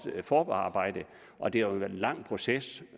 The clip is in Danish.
forarbejde og det har været en lang proces